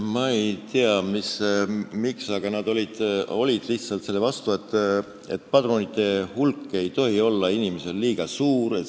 Ma ei tea, miks, aga nad lihtsalt olid selle vastu, nad väitsid, et padrunite hulk ei tohi olla liiga suur.